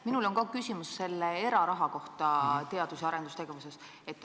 Minul on ka küsimus eraraha kohta teadus- ja arendustegevuses.